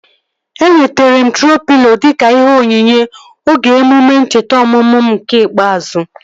Enwetere m troo pịlo dịka ihe onyinye oge emume ncheta ọmụmụ m nke ikpeazụ